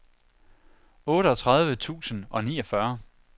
otteogtredive tusind og niogfyrre